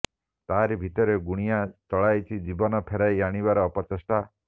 ତାହାରି ଭିତରେ ଗୁଣିଆ ଚଳାଇଛି ଜୀବନ ଫେରାଇ ଆଣିବାର ଅପଚେଷ୍ଟା